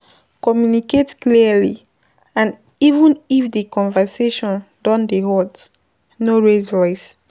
Communicate clearly and even if di conversation don dey hot, no raise voice